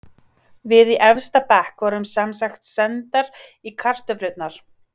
Við í efsta bekk vorum semsagt sendar í kartöflurnar.